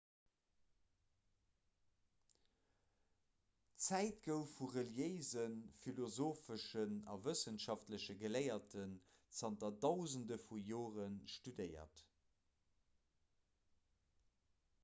d'zäit gouf vu reliéisen philosopheschen a wëssenschaftleche geléierten zanter dausende vu jore studéiert